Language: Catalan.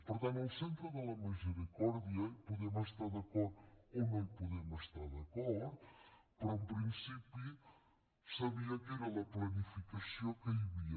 per tant en el centre de la misericòrdia hi podem estar d’acord o no hi podem estar d’acord però en principi sabia que era la planificació que hi havia